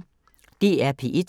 DR P1